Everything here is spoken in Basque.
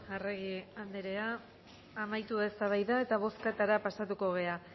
arregi anderea amaitu da eztabaida eta bozketara pasatuko gara